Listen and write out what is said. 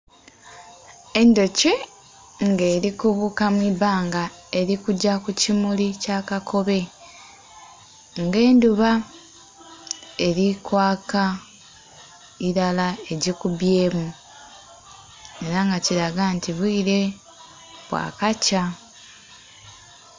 Endhuki nga eri kubuka mwibbanga eri kugya ku kimuli ekya kakobe nga endhuba eri kwaaka iilala egikibyemu era nga kilaga nti obwire bwa kakya.